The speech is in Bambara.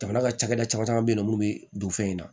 Jamana ka cakɛda caman caman be yen nɔ munnu be don fɛn in na